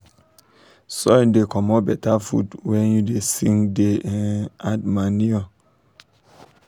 soil da comot better food when um you da sing da um add manure